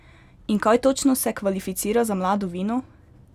In kaj točno se kvalificira za mlado vino?